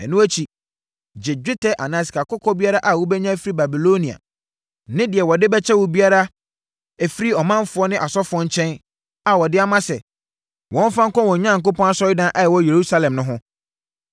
Ɛno akyi, gye dwetɛ anaa sikakɔkɔɔ biara a wobɛnya afiri Babilonia ne deɛ wɔde bɛkyɛ wo biara afiri ɔmanfoɔ ne asɔfoɔ nkyɛn a wɔde ama sɛ, wɔmfa nkɔ wɔn Onyankopɔn asɔredan a ɛwɔ Yerusalem no ho.